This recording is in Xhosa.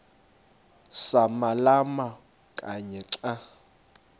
samalama kanye xa